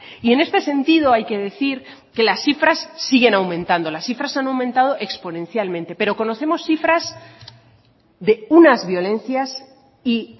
y en este sentido hay que decir que las cifras siguen aumentando las cifras han aumentado exponencialmente pero conocemos cifras de unas violencias y